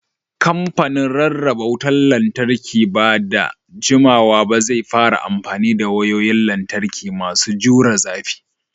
Kamfanin Rarraba Wutar Lantarki ba da jimawa ba zai fara amfani da wayoyin lantarki masu jure zafi.